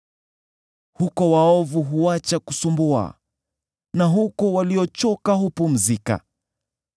Huko waovu huacha kusumbua na huko waliochoka hupumzika.